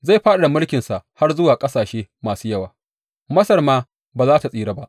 Zai fadada mulkinsa har zuwa ƙasashe masu yawa; Masar ma ba za tă tsira ba.